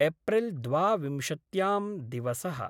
April द्वाविंशत्यां दिवसः।